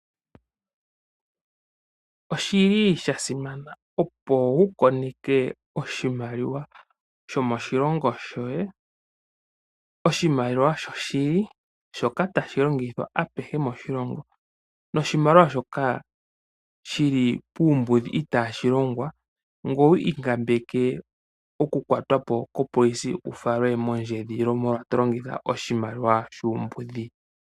Oshili sha simana opo wu koneke oshimaliwa shomoshilongo shoye, oshimaliwa shoshili shoka tashi longithwa apehe moshilongo. Noshimaliwa shoka shili puumbudhi itaashi longwa. Ngoye wu ikambeke oku kwatwa po kopolisi wu falwe mondjedhililo molwa sho to longitha oshimaliwa shuumbudhi.